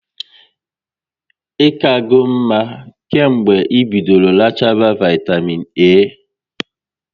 Ị kago mma kemgbe ị bidoro rachaba vaitamịn A?